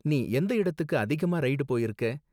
நீ எந்த இடத்துக்கு அதிகமா ரைடு போயிருக்க?